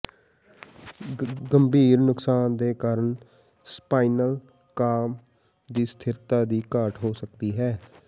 ਗੰਭੀਰ ਨੁਕਸਾਨ ਦੇ ਕਾਰਨ ਸਪਾਈਨਲ ਕਾਲਮ ਦੀ ਸਥਿਰਤਾ ਦੀ ਘਾਟ ਹੋ ਸਕਦੀ ਹੈ